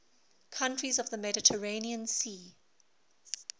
countries of the mediterranean sea